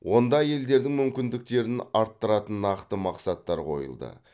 онда әйелдердің мүмкіндіктерін арттыратын нақты мақсаттар қойылды